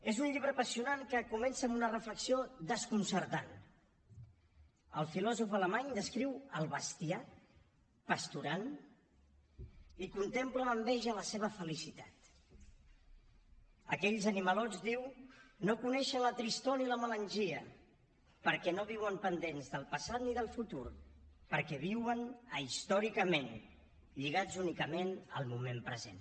és un llibre apassionant que comença amb una reflexió desconcertant el filòsof alemany descriu el bestiar pasturant i contempla amb enveja la seva felicitat aquells animalons diu no coneixen la tristor ni la melangia perquè no viuen pendents del passat ni del futur perquè viuen ahistòricament lligats únicament al moment present